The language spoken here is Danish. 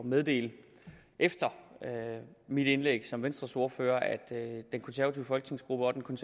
meddele efter mit indlæg som venstres ordfører at den konservative folketingsgruppe og den